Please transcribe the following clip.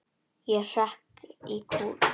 Ég hrekk í kút.